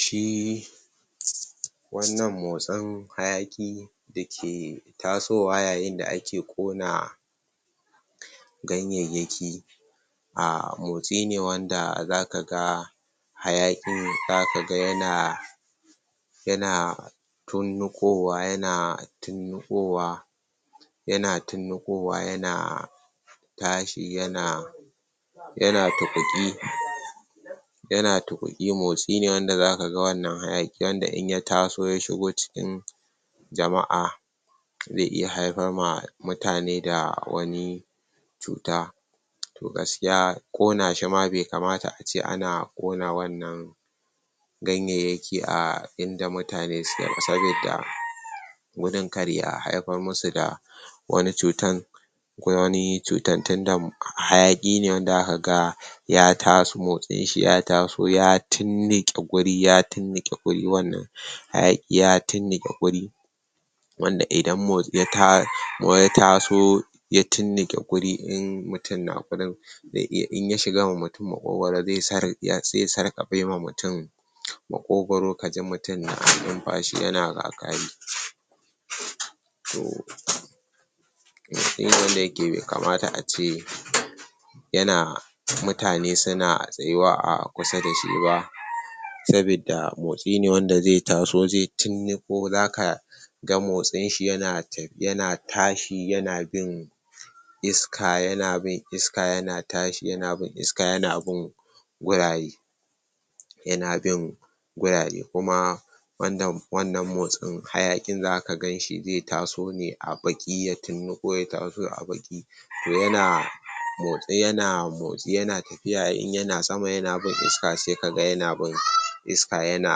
shi wannan motsin hayaƘi dake tasowa yayin da ake Ƙona ganyayyaki a motsine wanda zaka ga hayaƘin zakaga yana yana tirniƘowa, yana tiniƘowa yana tirniƘowa yana tashi yana yana tuƘuƘi yana tuƘuƘi, motsine wanda zakaga wannan hayakin wanda in ya taso ya shigo cikin jama,a ze iya haifarma mutane da wani cuta to gaskiya Ƙona shima be kamata ace ana Ƙona wannan ganyayyaki a inda mutane suke ba sabidda gudun kar ya haifar musu da wani cuta, ko wani cutan tinda hayaƘi ne wanda zaka ga ya tas, motsinshi ya taso ya tirniƘe guri, ya tirniƘe gurinnan hayaƘi ya tirniƘe guri wanda idan motsin ya taso ya tirniƘe guri in mutum na gurin ze iya ,inya sharma mutum maƘogaro zes ze sarƘafema mutum maƘogaro kaji mutum na numfashi yana ƘaƘari motsine wanda be kamata ace yana mutane suna tsayuwa a kusa dashi ba sabidda mostine wanda ze taso ze tirniƘo zaka motsin shi yana ta yana tashi yana bin iska, yana bin iska yana tashi yana bin iska yana bin gurare yana bin gurare kuma wanda wannan motsin hayaƘin zaka ganshi ze taso ne a baƘi ya tirniƘo ya taso a baƘi to yana motsi yana ,motsi yana tafiya in yana sama yana bin iska sekaga yana bin iska ,iska yana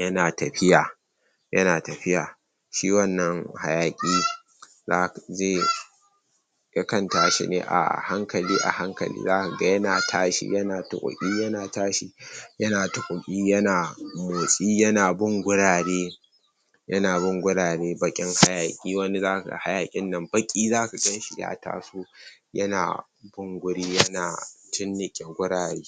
yana tafiya yana tafiya shi wannan hayaƘi ze yakan tashine a hankali a hankali, zaka ga yana tashi yana tuƘuƘi yana tashi yana tuƘuƘi yan bin gurare yana bin gurare baƘin hayaki, wani zakaga hayakin nan baƘi zaka ganshi ya taso yana bin guri yana tirniƘe gurare